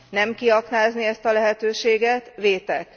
Nem kiaknázni ezt a lehetőséget vétek.